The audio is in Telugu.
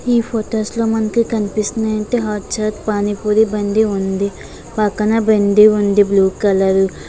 నీ ఫొటోస్ లో మనకి కనిపిస్తుంది--